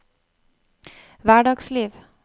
hverdagsliv